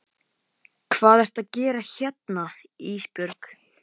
Lilla fitjaði upp á nefið, henni þótti fiskur vondur.